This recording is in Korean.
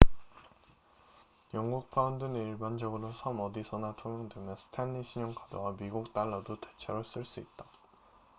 영국 파운드는 일반적으로 섬 어디서나 통용되며 스탠리 신용카드와 미국 달러도 대체로 쓸 수 있다